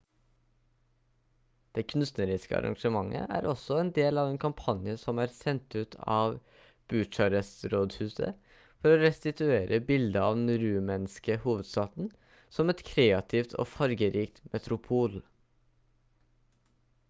det kunstneriske arrangementet er også en del av en kampanje som er sendt ut av bucharest-rådhuset for å restituere bildet av den rumenske hovedstaden som et kreativt og fargerikt metropol